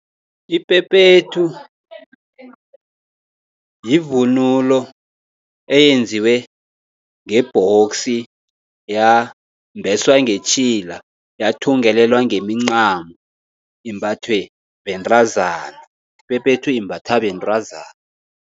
Iphephethu yivunulo eyenziwe ngebhoksi, yambeswa ngetjhila yathungelelwa ngemincamo, imbathwe bentazana. Iphephethu imbatha bentazana.